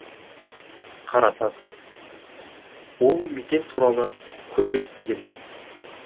қара тас ол мекен туралы көп естигенмін